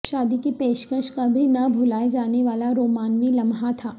شادی کی پیشکش کبھی نہ بھلائے جانے والا رومانوی لمحہ تھا